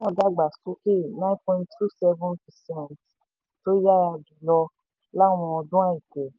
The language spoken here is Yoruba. ẹ̀ka náà dàgbà sókè nine point two seven percent tó yára jù lọ láwọn ọdún àìpẹ́.